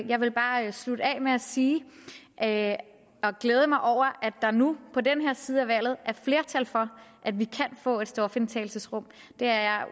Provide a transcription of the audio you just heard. jeg vil bare slutte af med at sige at jeg glæder mig over at der nu på den her side af valget er flertal for at vi kan få stofindtagelsesrum det er